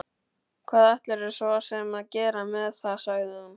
Hvað ætlarðu svo sem að gera með það, sagði hún.